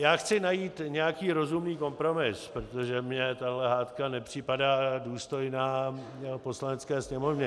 Já chci najít nějaký rozumný kompromis, protože mi tahle hádka nepřipadá důstojná Poslanecké sněmovny.